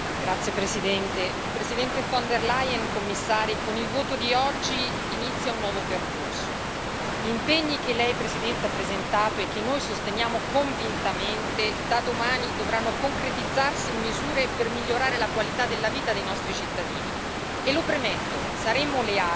Signora Presidente, onorevoli colleghi, signora Presidente von del Leyen, signori Commissari, con il voto di oggi inizia un nuovo percorso. Gli impegni che lei, Presidente, ha presentato e che noi sosteniamo convintamente da domani dovranno concretizzarsi in misure per migliorare la qualità della vita dei nostri cittadini.